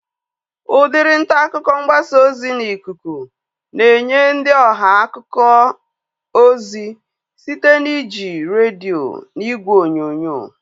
Udiri ntaakụkọ mgbasa ozi n'ikuku na-enye ndị ọha akụkọ ozi site na iji redio na ìgwè onyonyo